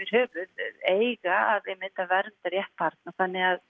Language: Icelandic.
höfuð eiga að vernda rétt barna þannig að